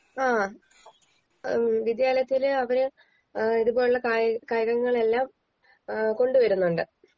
ആ ഏഹ് വിദ്യാലയത്തിൽ അവര് ഏഹ് ഇതുപോലുള്ള കായി കായികങ്ങളെല്ലാം ഏഹ് കൊണ്ട് വരുന്നുണ്ട്